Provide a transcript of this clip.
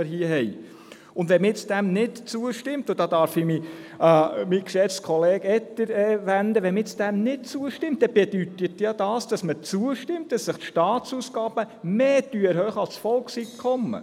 Wenn man dem nicht zustimmt – und da darf ich mich an meinen geschätzten Kollegen Etter wenden –, bedeutet dies, dass man zustimmt, dass die Staatsausgaben mehr erhöht werden als das Volkseinkommen.